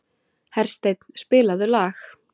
Hersteinn, spilaðu lag.